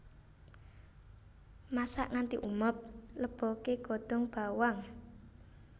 Masak nganti umub leboke godhong bawang